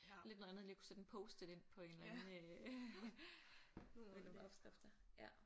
Lidt noget andet lige at kunne sætte en post-it ind på en eller anden øh mellem opskrifter ja